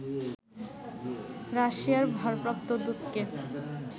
রাশিয়ার ভারপ্রাপ্ত দূতকে